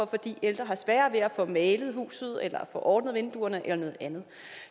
fordi ældre har sværere ved at få malet huset eller få ordnet vinduerne eller noget andet